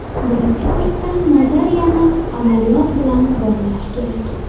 Birinchi kursdan nazariyani amaliyot bilan bog‘lash kerak.